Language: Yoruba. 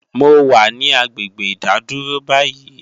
mo wà ní agbègbè ìdádúró báyìí